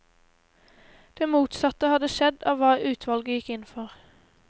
Det motsatte hadde skjedd av hva utvalget gikk inn for.